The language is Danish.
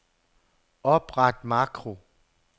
Opret makro.